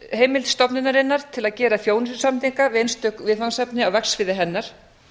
heimild stofnunarinnar til að gera þjónustusamninga við einstök viðfangsefni á verksviði hennar